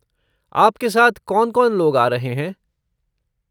आपके साथ कौन कौन लोग आ रहे हैं?